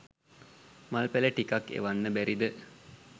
මල් පැල ටිකක් එවන්න බැරිද?